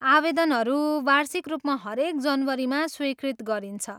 आवेदनहरू वार्षिक रूपमा हरेक जनवरीमा स्वीकृत गरिन्छ।